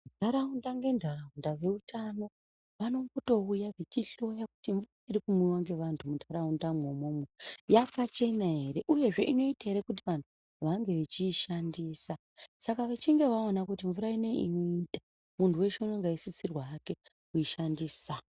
Ntaraunda ngentaraunda veutano vanombotouya veihloya kuti mnvura iri kumwiwa ngevantu mundaraunda mwoumwomwo yakachena ere uyezve inoita ere kuti vanhu vange vechiishandisa saka vechinge vaona kuti mnvura ineyi inoita munhu weshe unenge eisisirwa hake kuishandisa.